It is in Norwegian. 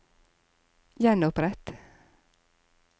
gjenopprett